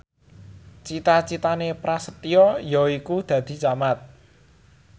cita citane Prasetyo yaiku dadi camat